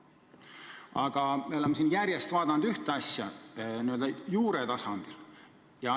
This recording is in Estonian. Aga me oleme siin järjest vaadanud ühte asja n-ö juure tasandil.